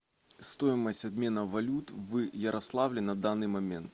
стоимость обмена валют в ярославле на данный момент